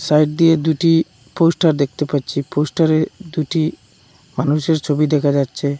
Side দিয়ে দুটি poster দেখতে পাচ্ছি পোস্টারে দুটি মানুষের ছবি দেখা যাচ্ছে।